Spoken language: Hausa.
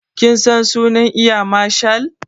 Kin san sunan eya marshal?